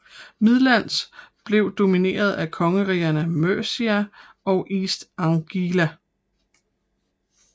Midlands blev domineret af kongerigerne Mercia og East Anglia